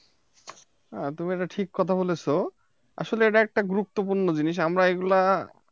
হ্যাঁ তুমি এটা ঠিক কথা বলেছ আসলে এটা একটা গুরুত্বপূর্ণ জিনিস আমরা এগুলো